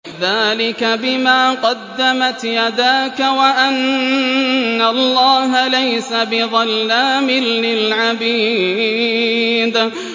ذَٰلِكَ بِمَا قَدَّمَتْ يَدَاكَ وَأَنَّ اللَّهَ لَيْسَ بِظَلَّامٍ لِّلْعَبِيدِ